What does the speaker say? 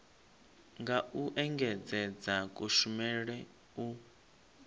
nga u engedzedza kushumele u